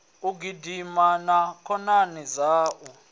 u gidima na khonani dzaṋu